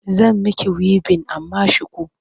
Zan miki wibin amma shuku.